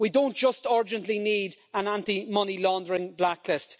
We don't just urgently need an anti money laundering blacklist